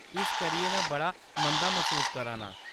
इस करियै में बड़ा मंदा मसूस करा नां।